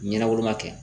Ɲɛna woloma kɛ